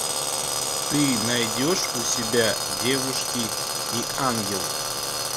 ты найдешь у себя девушки и ангелы